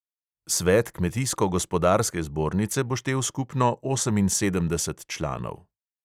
Svet kmetijsko gospodarske zbornice bo štel skupno oseminsedemdeset članov.